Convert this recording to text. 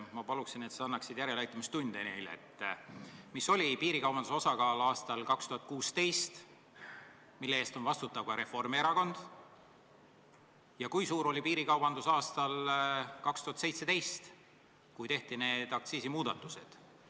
Ma palun, et sa annaksid neile järeleaitamistunde, kui suur oli piirikaubanduse osakaal aastal 2016, mille eest on vastutav ka Reformierakond, ja kui suur oli piirikaubandus aastal 2017, kui tehti need aktsiisimuudatused.